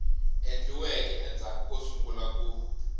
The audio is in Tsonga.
endliweke endzhaku ko sungula ku